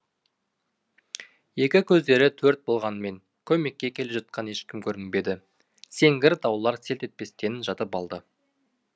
екі көздері төрт болғанмен көмекке келе жатқан ешкім көрінбеді сеңгір таулар селт етпестен жатып алды